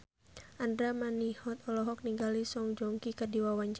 Andra Manihot olohok ningali Song Joong Ki keur diwawancara